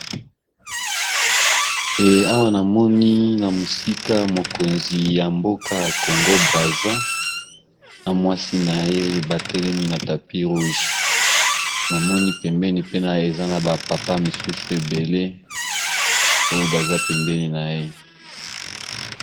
Awa namoni na mosika mokonzi ya mboka congo brasa na mwasi na ye batelemi na tapi roug namoni pembeni pene eza na bapapa misusu ebele oyo baza pembeni na ye.